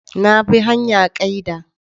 Na bi hanya kaida.